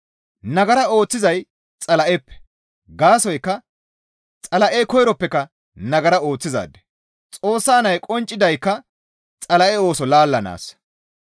Nagara ooththizay Xala7eppe; gaasoykka Xala7ey koyroppeka nagara ooththizaade; Xoossa nay qonccidaykka Xala7e ooso laallanaassa.